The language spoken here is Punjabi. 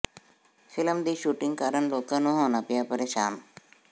ਫ਼ਿਲਮ ਦੀ ਸ਼ੂਟਿੰਗ ਕਾਰਨ ਲੋਕਾਂ ਨੂੰ ਹੋਣਾ ਪਿਆ ਪ੍ਰੇਸ਼ਾਨ